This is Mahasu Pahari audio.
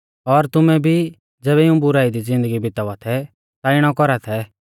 और तुमै भी ज़ैबै इऊं बुराई दी ज़िन्दगी बितावा थै ता इणौ कौरा थै